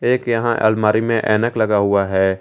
एक यहां अलमारी में ऐनक लगा हुआ है।